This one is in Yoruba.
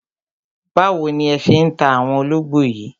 Báwo ni ẹ ṣé ń ta àwọn ológbò yìí